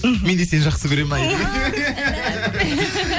іхі мен де сені жақсы көремін айри